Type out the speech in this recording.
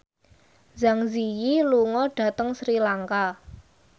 Zang Zi Yi lunga dhateng Sri Lanka